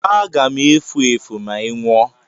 Aga m efu efu ma ị nwụọ!